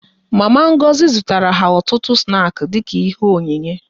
Mama Ngozi zụtara ha ọtụtụ snaki dịka ihe onyinye